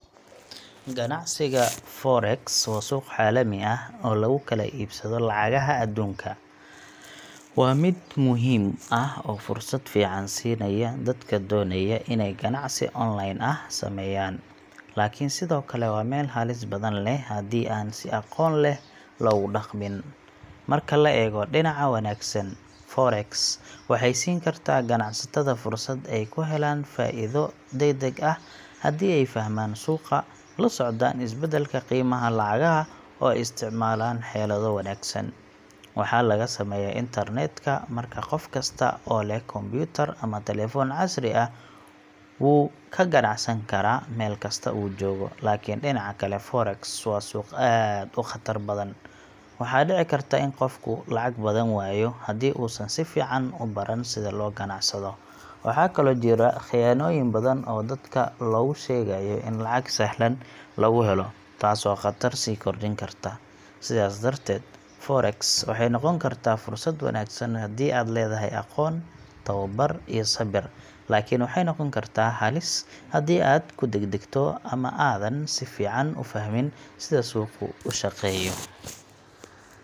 Ganacsiga Forex waa suuq caalami ah oo lagu kala iibsado lacagaha adduunka. Waa mid muhiim ah oo fursad fiican siinaya dadka doonaya inay ganacsi online ah sameeyaan, laakiin sidoo kale waa meel halis badan leh haddii aan si aqoon leh loogu dhaqmin. Marka laga eego dhinaca wanaagsan, Forex waxay siin kartaa ganacsatada fursad ay ku helaan faa'iido degdeg ah haddii ay fahmaan suuqa, la socdaan isbeddelka qiimaha lacagaha, oo ay isticmaalaan xeelado wanaagsan. Waxaa lagu sameeyaa internet-ka, markaa qof kasta oo leh kombiyuutar ama telefoon casri ah wuu ka ganacsan karaa meel kasta uu joogo. Laakiin dhinaca kale, Forex waa suuq aad u khatar badan. Waxaa dhici karta in qofku lacag badan waayo haddii uusan si fiican u baran sida loo ganacsado. Waxaa kaloo jira khiyaanooyin badan oo dadka loogu sheegayo in lacag sahlan lagu helo, taasoo khatar sii kordhin karta. Sidaas darteed, Forex waxay noqon kartaa fursad wanaagsan haddii aad leedahay aqoon, tababar, iyo sabir, laakiin waxay noqon kartaa halis haddii aad ku degdegto ama aadan si fiican u fahmin sida suuqu u shaqeeyo.